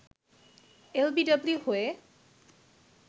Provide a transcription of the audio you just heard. LBW হয়ে